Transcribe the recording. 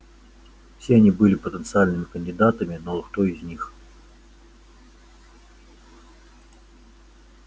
все они были потенциальными кандидатами но вот кто из них